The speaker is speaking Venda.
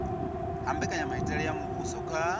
ha mbekanyamitele ya muvhuso kha